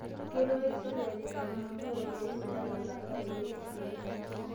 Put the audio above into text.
Keirriwaki sirkali lkansulani ropiyiani metalaa laasak lenye lesai